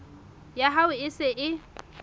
ya hao e se e